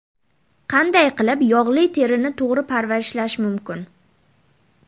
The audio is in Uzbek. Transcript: Qanday qilib yog‘li terini to‘g‘ri parvarishlash mumkin?